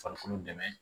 Farikolo dɛmɛ